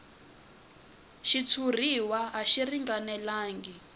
xitshuriwa a xi ringanelangi